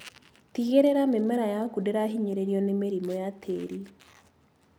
Tigĩrĩra mĩmera yaku ndĩrahinyĩrĩrio nĩ mĩrimũ ya tĩri.